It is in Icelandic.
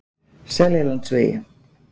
Seljalandsvegi